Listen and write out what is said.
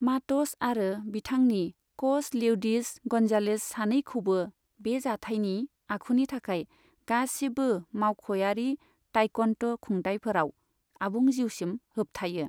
माट'स आरो बिथांनि कच लेउडिस गन्जालेज सानैखौबो बे जाथायनि आखुनि थाखाय गासिबो मावख'यारि ताइक्वन्ड' खुंथाइफोराव आबुं जिउसिम होबथायो।